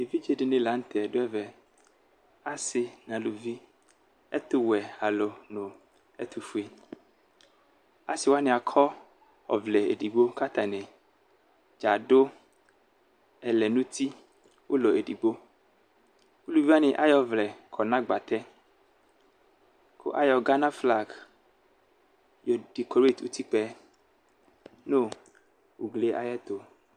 Evidze dini lanʋtɛ dʋ ɛvɛ asi nʋ alʋvi ɛtʋwɛ alʋ nʋ ɛtʋfue alʋ asi wani akɔ ɔvlɛ edigbo kʋ atani dza adʋ ɛlɛnʋ uti ʋlɔ edigbo ʋlʋvi wani ayɔ ɔvlɛ kɔ nʋ agbatɛ kʋ ayɔ Gana flag yɔ dikɔret ʋtikpaɛ nʋ ugli ayʋ ɛtʋ